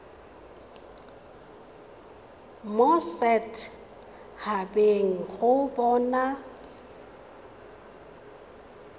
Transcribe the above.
mo set habeng go bona